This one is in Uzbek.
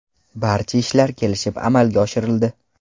Barcha ishlar kelishib amalga oshirildi.